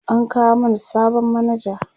an kawo mana sabon manaja